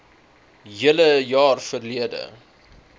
hele jaar verlede